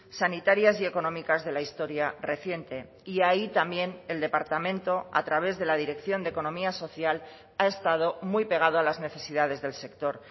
sanitarias y económicas de la historia reciente y ahí también el departamento a través de la dirección de economía social ha estado muy pegado a las necesidades del sector